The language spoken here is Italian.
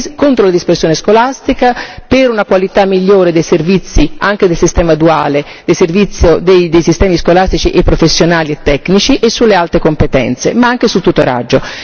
contro la dispersione scolastica, per una qualità migliore dei servizi, anche del sistema duale, dei servizi dei sistemi scolastici e professionali e tecnici e sulle altre competenze, ma anche sul tutoraggio.